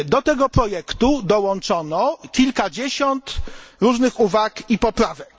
Do tego projektu dołączono kilkadziesiąt różnych uwag i poprawek.